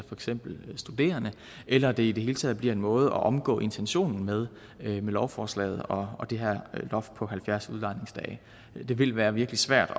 eksempel studerende eller at det i det hele taget bliver en måde at omgå intentionen med lovforslaget og det her loft på halvfjerds udlejningsdage det vil være virkelig svært